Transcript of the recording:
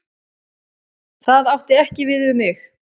Það átti ekki við um mig.